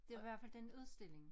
Det var i hvert fald den udstilling